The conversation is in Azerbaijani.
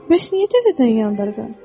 Bəs niyə təzədən yandırdın?